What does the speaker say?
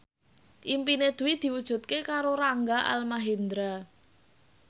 impine Dwi diwujudke karo Rangga Almahendra